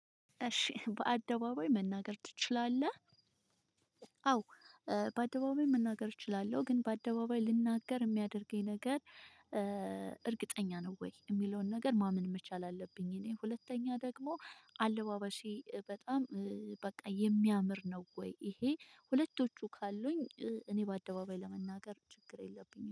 እሺ በአደባባይ መናገር ትችላለህ? አዎ በአደባባይ መናገር እችላለሁ ግን በአደባባይ ልናገር የሚያደርገኝ ነገር እርግጠኛ ነው ወይ የሚለውን ነገር ማመን መቻል አለብኝ። እኔ ሁለተኛ ደግሞ አለባባሴ በጣም በቃ የሚያምር ነው ወይ? ይሄ ሁለቶቹ ካሉኝ እኔ በአደባባይ ለመናገር ችግር የለብኝም